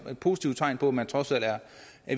positivt tegn på at man trods alt er